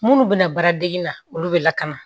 Munnu be na baaradege na olu be lakana